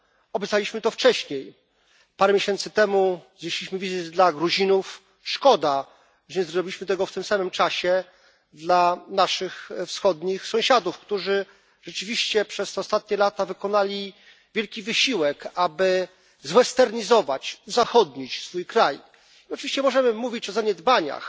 Obiecaliśmy to wcześniej, parę miesięcy temu znieśliśmy wizy dla Gruzinów, szkoda, że nie zrobiliśmy tego w tym samym czasie dla naszych wschodnich sąsiadów, którzy rzeczywiście przez te ostatnie lata wykonali wielki wysiłek, aby zwesternizować, uzachodnić swój kraj. Oczywiście możemy mówić o zaniedbaniach